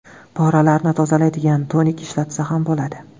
Poralarni tozalaydigan tonik ishlatsa ham bo‘ladi.